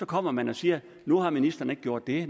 kommer man og siger at nu har ministeren ikke gjort det